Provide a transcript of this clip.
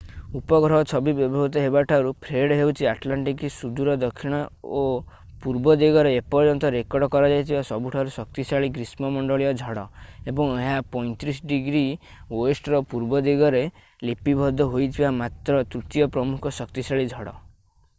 ଉପଗ୍ରହ ଛବି ବ୍ୟବହୃତ ହେବାଠାରୁ ଫ୍ରେଡ୍ ହେଉଛି ଆଟଲାଣ୍ଟିକର ସୁଦୂର ଦକ୍ଷିଣ ଓ ପୂର୍ବ ଦିଗରେ ଏପର୍ଯ୍ୟନ୍ତ ରେକର୍ଡ କରାଯାଇଥିବା ସବୁଠାରୁ ଶକ୍ତିଶାଳୀ ଗ୍ରୀଷ୍ମ ମଣ୍ଡଳୀୟ ଝଡ଼ ଏବଂ ଏହା 35°wର ପୂର୍ବ ଦିଗରେ ଲିପିବଦ୍ଧ ହୋଇଥିବା ମାତ୍ର ତୃତୀୟ ପ୍ରମୁଖ ଶକ୍ତିଶାଳୀ ଝଡ଼।